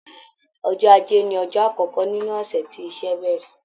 Ọjọ́ Ajé ni ọjọ́ àkọ́kọ́ nínú ọ̀sẹ̀ tí iṣẹ́ bẹ̀rẹ̀.